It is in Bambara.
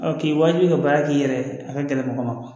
k'i wajibiya baara k'i yɛrɛ ye a ka gɛlɛn mɔgɔ ma